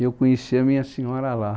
E eu conheci a minha senhora lá.